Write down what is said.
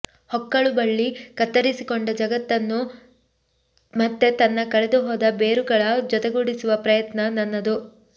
ಹೊಕ್ಕಳುಬಳ್ಳಿ ಕತ್ತರಿಸಿಕೊಂಡ ಜಗತ್ತನ್ನು ಮತ್ತೆ ತನ್ನ ಕಳೆದುಹೋದ ಬೇರುಗಳ ಜೊತೆಗೂಡಿಸುವ ಪ್ರಯತ್ನ ನನ್ನದು